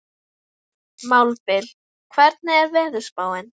Mábil, hvernig er veðurspáin?